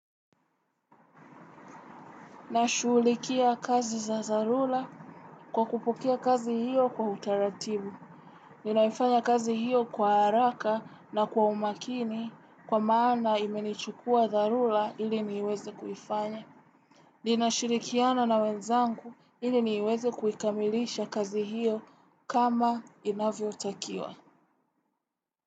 Na shughulikia kazi za dharura kwa kupokea kazi hiyo kwa utaratibu. Ninaifanya kazi hiyo kwa haraka na kwa umakini kwa maana imenichukua dharura ili niweze kuifanya. Ninashirikiana na wenzangu ili niweze kuikamilisha kazi hiyo kama inavyotakiwa.